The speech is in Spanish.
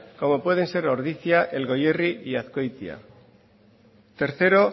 como pueden ser ordicia el goierri y azkoitia tercero